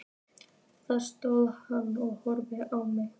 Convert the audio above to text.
Þar stóð hann og horfði á mig.